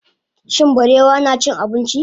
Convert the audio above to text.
shin barewa nacin abinci?